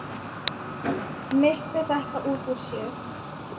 Missti þetta út úr sér.